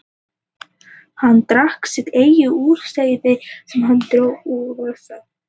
Hann drakk sitt eigið jurtaseyði sem hann dró úr vasa